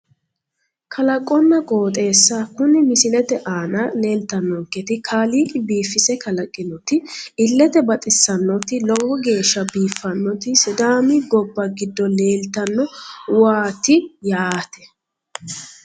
Kalaqonna qooxeessa kuni misilete aana leetannonketi kaaliiqi biifise kalaqinoti illete baxissannoti lowo geeshsha biiffannoti sidaami gobba giddo leeltanno uuaati yaate